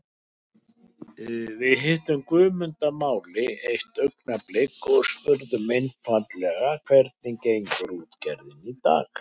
Við hittum Guðmund að máli eitt augnablik og spurðum einfaldlega hvernig gengur útgerðin í dag?